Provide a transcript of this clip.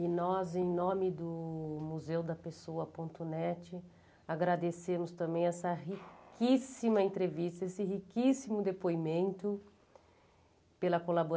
E nós, em nome do Museu da Pessoa ponto net, agradecemos também essa riquíssima entrevista, esse riquíssimo depoimento pela